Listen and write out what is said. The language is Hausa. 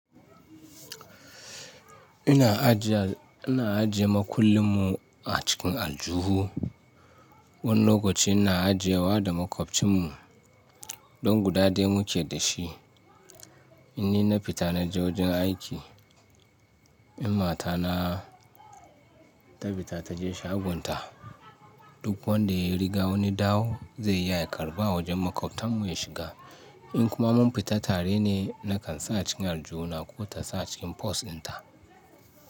Ina ajiye, ina ajiye makullin mu a cikin aljuhu. Wani lokaci ina ajiyewa da maƙwabcin mu don guda dai muke da shi. Inni na fita na je wajen aiki, in mata na ta fita ta je shagonta, duk wanda ya riga wani dawo zai yi aika raba wajen maƙabtan mu ya shiga. In kuma mun fita tare ne, na kan sa cikin aljuhu na ko ta sa cikin pos ɗin ta.